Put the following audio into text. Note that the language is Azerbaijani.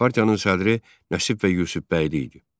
Partiyanın sədri Nəsib bəy Yusif bəyli idi.